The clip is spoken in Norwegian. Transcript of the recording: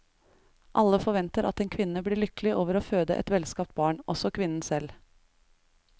Alle forventer at en kvinne blir lykkelig over å føde et velskapt barn, også kvinnen selv.